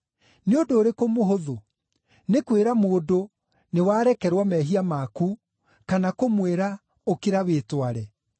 Nĩ ũndũ ũrĩkũ mũhũthũ: nĩ kwĩra mũndũ, ‘Nĩwarekerwo mehia maku,’ kana kũmwĩra, ‘Ũkĩra wĩtware?’